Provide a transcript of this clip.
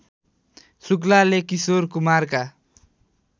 शुक्लाले Kishore कुमारका